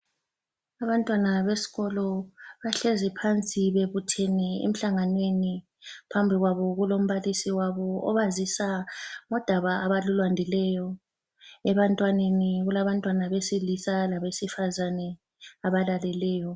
Abantwana besikolo, bahlezi phansi bebuthene emhlanganweni. Phambi kwabo kulombalisi wabo obazisa ngodaba abalulandileyo. Ebantwaneni, kulabantwana besilisa labesifazane, abalaleleyo.